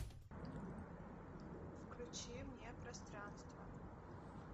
включи мне пространство